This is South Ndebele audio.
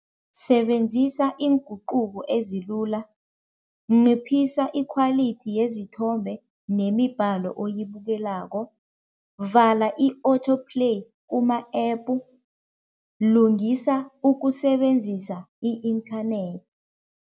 Sebenzisa iinguquko ezilula, nciphisa i-quality yezithombe nemibhalo oyibukelako, vala i-auto play kuma-epu, lungisa ukusebenzisa i-inthanethi.